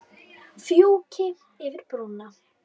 Fjúki yfir brúna.